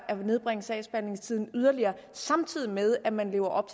at nedbringe sagsbehandlingstiden yderligere samtidig med at man lever op